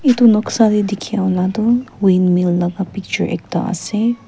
etu noksa de dekhi ula tu wind mil laga picture ekta ase--